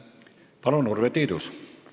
Palun, Urve Tiidus!